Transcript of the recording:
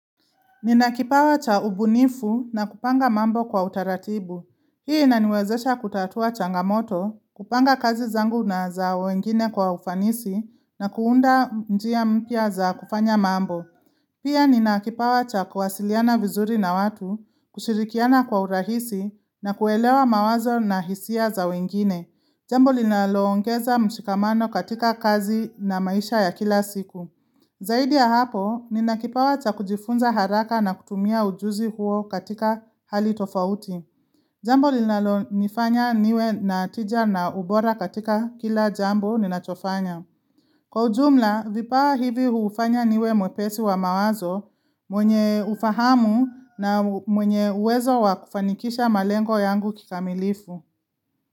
Nina kipawa cha ubunifu na kupanga mambo kwa utaratibu. Hii inaniwezesha kutatua changamoto, kupanga kazi zangu na za wengine kwa ufanisi na kuunda mjia mpia za kufanya mambo. Pia nina kipawa cha kuwasiliana vizuri na watu, kushirikiana kwa urahisi na kuelewa mawazo na hisia za wengine. Jambo linalo ongeza mshikamano katika kazi na maisha ya kila siku. Zaidi ya hapo, nina kipawa cha kujifunza haraka na kutumia ujuzi huo katika hali tofauti. Jambo linalo nifanya niwe na tija na ubora katika kila jambo ninachofanya. Kwa ujumla, vipawa hivi huufanya niwe mwepesi wa mawazo mwenye ufahamu na mwenye uwezo wakufanikisha malengo yangu kikamilifu.